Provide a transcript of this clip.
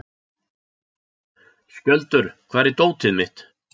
Skjöldur, hvar er dótið mitt?